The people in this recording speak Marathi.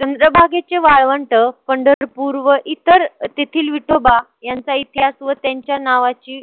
चंद्रभागेचे वाळवंट पंढरपूर व इतर तेथील विठोबा यांचा इतिहास व त्यांच्या नावाची